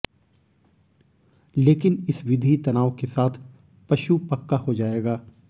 लेकिन इस विधि तनाव के साथ पशु पक्का हो जाएगा